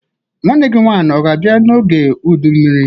Nwanne gi nwanyi o ga-abia n'oge udu mmiri?